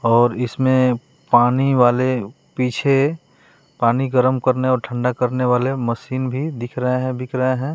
और इसमें पानी वाले पीछे पानी गर्म करने और ठंडा करने वाले मशीन भी दिख रहे हैं बिक रहे हैं।